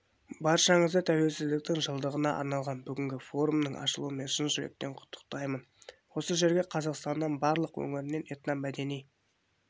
баршаңызды тәуелсіздіктің жылдығына арналған бүгінгі форумның ашылуымен шын жүректен құттықтаймын осы жерге қазақстанның барлық өңірінен этномәдени